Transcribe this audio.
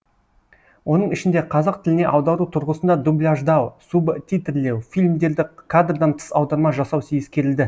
оның ішінде қазақ тіліне аудару тұрғысында дубляждау субтитрлеу фильмдерді кадрдан тыс аударма жасау ескірілді